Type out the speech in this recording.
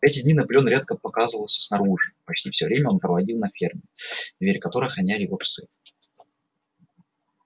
в эти дни наполеон редко показывался снаружи почти всё время он проводил на ферме двери которой охраняли его псы